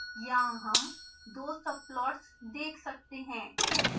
यहाँ हम तो subplots देख सकते हैं